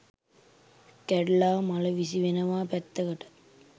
කැඩිලා මල විසි වෙනවා පැත්තකට